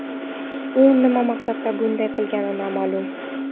U nima maqsadda bunday qilgani noma’lum.